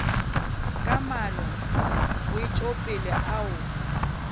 ka maano a wetšopele ao